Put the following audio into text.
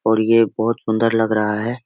और ये बहुत सुंदर लग रहा है।